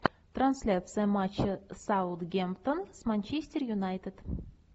трансляция матча саутгемптон с манчестер юнайтед